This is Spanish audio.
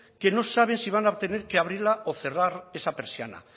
que no saben si van a tener que abrirla o cerrarla esa persiana